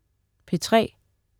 P3: